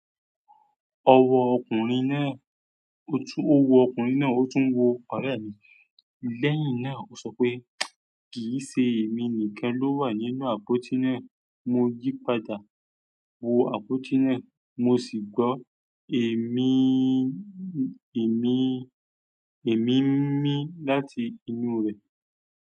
Ọwọ́ ọkùnrin náà, ó wu ọkùnrin náà, ó tún ń wo ọ̀rẹ́ rẹ̀mi. Lẹ́yìn náà, ó sọ pé, "Kì í ṣe èmi nìkan ló wà nínú àpótí náà." Mo yí padà wo àpótí náà, mo sì gbọ́ èmi-èmi-èmi mí láti inú rẹ̀.